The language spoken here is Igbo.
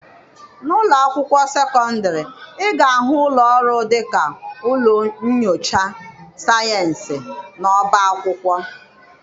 N'ụlọ akwụkwọ sekọndịrị, ị ga-ahụ ụlọ ọrụ dịka ụlọ nnyocha sayensị, na ọba akwụkwọ.